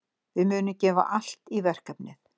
Við munum gefa allt í verkefnið.